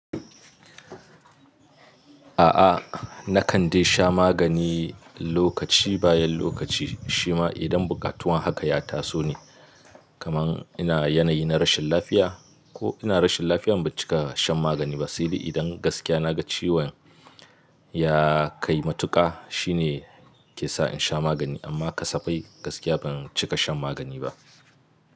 A'a, na kan dai sha magani lokaci bayan lokaci, shi ma idan bukatun haka ya taso ne. Kaman ina yanayi na rashin lafiya ko ina rashin lafiyan ban cika shan magani ba, saidai idan gaskiya na ga ciwon ya kai matuƙa shine ke sa in sha magani. Amma kasafai gaskiya ban cika shan magani ba.